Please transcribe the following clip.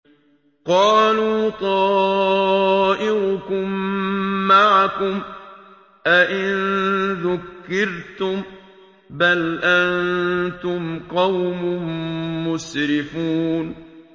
قَالُوا طَائِرُكُم مَّعَكُمْ ۚ أَئِن ذُكِّرْتُم ۚ بَلْ أَنتُمْ قَوْمٌ مُّسْرِفُونَ